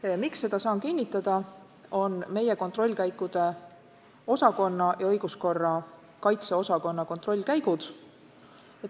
Ja ma saan seda kinnitada tänu meie kontrollkäikude osakonna ja õiguskorra kaitse osakonna kontrollkäikudele.